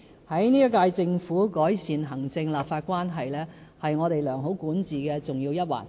本屆政府將致力改善行政立法關係，這是我們良好管治的重要一環。